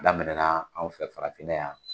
Daminɛna anw fɛ farafin na yan